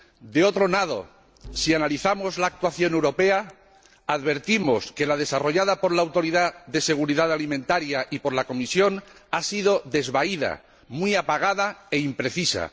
De otro lado, si analizamos la actuación europea, advertimos que la desarrollada por la Autoridad de Seguridad Alimentaria y por la Comisión ha sido desvaída, muy apagada e imprecisa